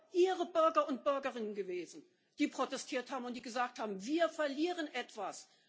Das sind doch Ihre Bürger und Bürgerinnen gewesen, die protestiert haben und die gesagt haben Wir verlieren hier etwas.